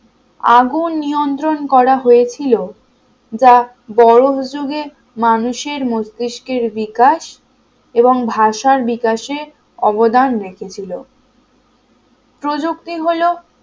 আগুন নিয়ন্ত্রণ করা হয়েছিল যা বরফ যুগে মানুষের মস্তিষ্কের বিকাশ এবং ভাষার বিকাশে অবদান রেখেছিল প্রযুক্তি হলো